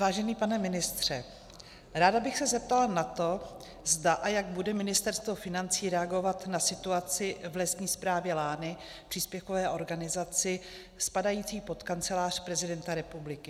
Vážený pane ministře, ráda bych se zeptala na to, zda a jak bude Ministerstvo financí reagovat na situaci v Lesní správě Lány, příspěvkové organizaci, spadající pod Kancelář prezidenta republiky.